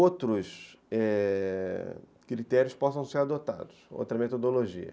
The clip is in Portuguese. outros, é... critérios possam ser adotados, outra metodologia.